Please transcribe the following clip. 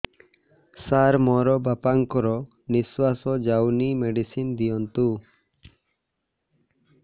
ସାର ମୋର ବାପା ଙ୍କର ନିଃଶ୍ବାସ ଯାଉନି ମେଡିସିନ ଦିଅନ୍ତୁ